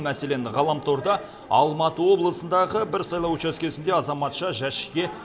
мәселен ғаламторда алматы облысындағы бір сайлау учаскесінде азаматша жәшікке